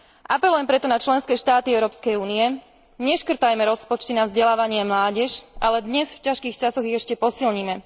Apelujem preto na členské štáty Európskej únie neškrtajme rozpočty na vzdelávanie a mládež, ale dnes v ťažkých časoch ich ešte posilnime!